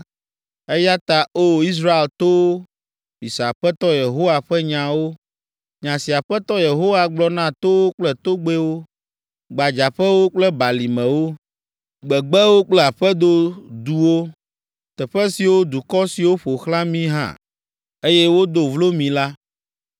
eya ta, O! Israel towo, mise Aƒetɔ Yehowa ƒe nyawo. Nya si Aƒetɔ Yehowa gblɔ na towo kple togbɛwo, gbadzaƒewo kple balimewo, gbegbewo kple aƒedo duwo, teƒe siwo dukɔ siwo ƒo xlã mi ha, eye wodo vlo mi la,’